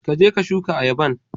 Ka je ka shuka ayaban.